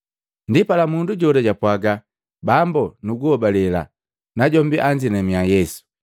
Ndipala mundu jola japwaaga, “Bambo, nuguhobalela.” Najombi anzinamiya Yesu.